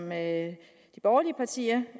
med siger